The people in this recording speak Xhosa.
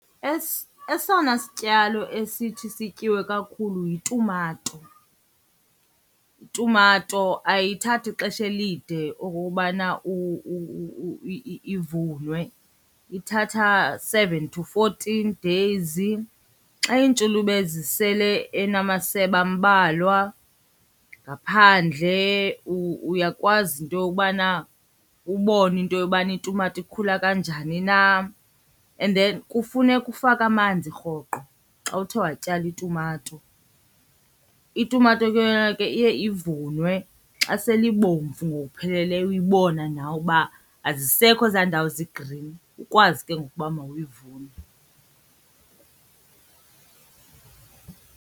Esona sityalo esithi sityiwe kakhulu yitumato. Itumato ayithathi xesha elide okokubana ivunwe, ithatha seven to fourteen days. Xa iintshulube zisele enamasebe ambalwa ngaphandle uyakwazi into yokubana ubone into yobana itumata ikhula kanjani na, and then kufuneka ufake amanzi rhoqo xa uthe watyala itumato. Itumato ke yona ke iye ivunwe xa sele ibomvu ngokupheleleyo uyibona nawe uba azisekho ezaa ndawo zi-green, ukwazi ke ngoku uba mawuyivune.